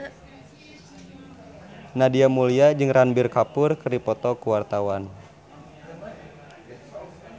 Nadia Mulya jeung Ranbir Kapoor keur dipoto ku wartawan